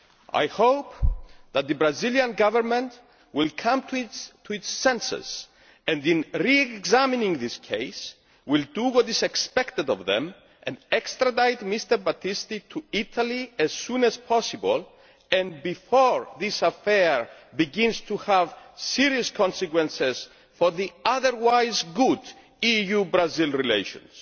I hope that the Brazilian Government will come to its senses and, in re examining this case, will do what is expected of it and extradite Mr Battisti to Italy as soon as possible and before this affair begins to have serious consequences for the otherwise good EU Brazil relations.